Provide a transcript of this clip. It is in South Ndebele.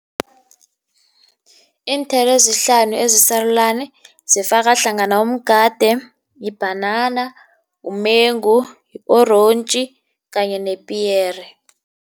Iinthelo ezihlanu ezisarulani zifaka hlangana umgade, yibhanana, umengu, yi-orentji kanye nepiyere.